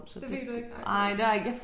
Det ved du ikke? Ej det også